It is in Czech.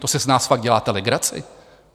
To si z nás fakt děláte legraci?